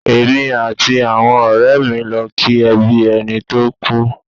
Èmi àti àwọn ọ̀rẹ́ lọ ki ẹbí ẹni tó kú.